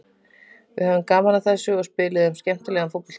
Við höfðum gaman af þessu og spiluðum skemmtilegan fótbolta.